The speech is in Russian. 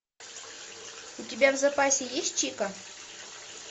у тебя в запасе есть чика